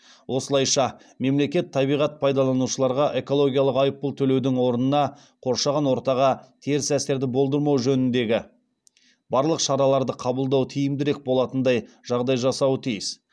осылайша мемлекет табиғат пайдаланушыларға экологиялық айыппұл төлеудің орнына қоршаған ортаға теріс әсерді болдырмау жөніндегі барлық шараларды қабылдау тиімдірек болатындай жағдай жасауы тиіс